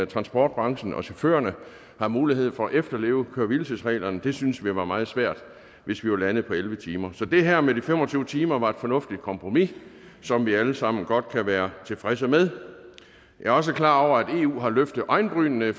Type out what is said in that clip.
transportbranchen og chaufførerne har mulighed for at efterleve køre hvile tids reglerne det synes vi var meget svært hvis vi var landet på elleve timer så det her med de fem og tyve timer var et fornuftigt kompromis som vi alle sammen godt kan være tilfredse med jeg er også klar over at eu har løftet øjenbrynene